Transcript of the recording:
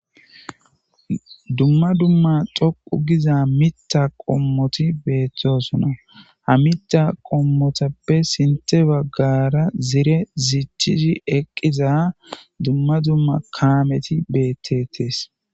dumma dumma xoqu giza mitta qommoti beettosona ha mita qommotappe sinte baggara zire zichchizhi eqqiza dumma dumma kaameti beettetees